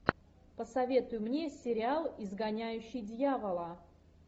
посоветуй мне сериал изгоняющий дьявола